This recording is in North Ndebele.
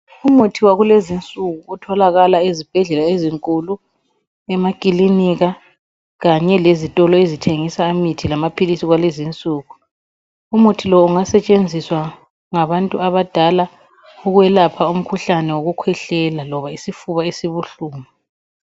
Umuthi wakulezinsuku otholakala ezibhedlela ezinkulu, emakilinika kanye lezitolo ezithengisa imithi lamaphilisi, kwalezinsuku, umuthi lowu ungasetshenziswa ngabantu abadala ukwelapha umkhuhlane wokukhwehlela loba isifuba esibuhlungu.